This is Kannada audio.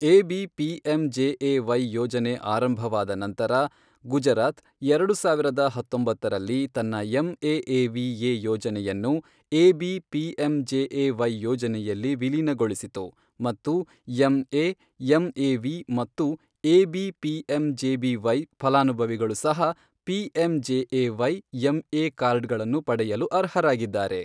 ಎಬಿ ಪಿಎಂಜೆಎವೈ ಯೋಜನೆ ಆರಂಭವಾದ ನಂತರ, ಗುಜರಾತ್, ಎರಡು ಸಾವಿರದ ಹತ್ತೊಂಬತ್ತರಲ್ಲಿ, ತನ್ನ ಎಂಎ ಎವಿಎ ಯೋಜನೆಯನ್ನು ಎಬಿ ಪಿಎಂಜೆಎವೈ ಯೋಜನೆಯಲ್ಲಿ ವಿಲೀನಗೊಳಿಸಿತು ಮತ್ತು ಎಂಎ ಎಂಎವಿ ಮತ್ತು ಎಬಿ ಪಿಎಂಜೆಬಿವೈ ಫಲಾನುಭವಿಗಳು ಸಹ ಪಿಎಂಜೆಎವೈ ಎಂಎ ಕಾರ್ಡ್ಗಳನ್ನು ಪಡೆಯಲು ಅರ್ಹರಾಗಿದ್ದಾರೆ.